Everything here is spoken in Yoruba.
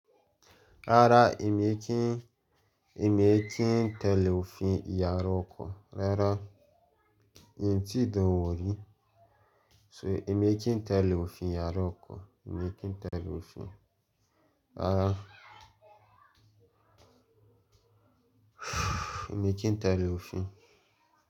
Rárá, èmi kí n, èmi kí n tẹ̀lé òfin ìyàrá ọkọ. Rárá, mi tí dánwò rí. So èmi kí n tẹ̀lé òfin ìyàrá ọkọ. Èmi kí n tẹ̀lé òfin. Rárá, èmi kí n tẹ̀lé òfin.